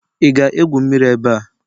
Ị ga-egwu mmiri ebe a?